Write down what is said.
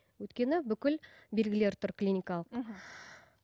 өйткені бүкіл белгілері тұр клиникалық мхм